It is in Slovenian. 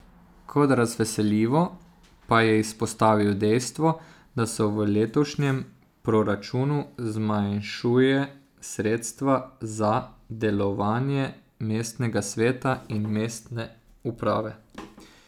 Kot razveseljivo pa je izpostavil dejstvo, da se v letošnjem proračunu zmanjšuje sredstva za delovanje mestnega sveta in mestne uprave.